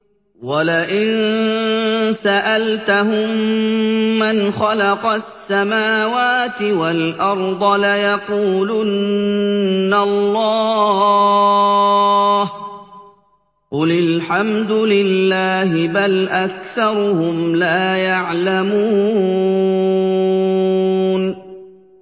وَلَئِن سَأَلْتَهُم مَّنْ خَلَقَ السَّمَاوَاتِ وَالْأَرْضَ لَيَقُولُنَّ اللَّهُ ۚ قُلِ الْحَمْدُ لِلَّهِ ۚ بَلْ أَكْثَرُهُمْ لَا يَعْلَمُونَ